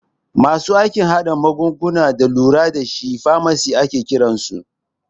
Masu aikin hada magunguna da lura dashi famasis ake kiransu